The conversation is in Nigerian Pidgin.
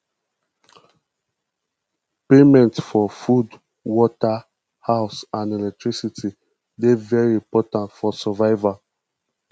payment for food water house and electricity dey very important for survival